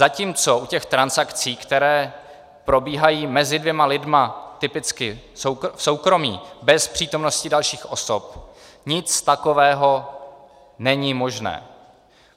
Zatímco u těch transakcí, které probíhají mezi dvěma lidmi typicky v soukromí bez přítomnosti dalších osob, nic takového není možné.